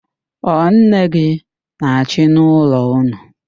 Ọ nne gị na-achị n'ụlọ ụnụ?